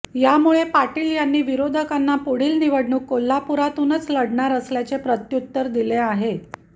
यामुळे पाटील यांनी विरोधकांना पुढील निवडणूक कोल्हापुरातूनच लढणार असल्याचे प्रत्यूत्तर दिले आहे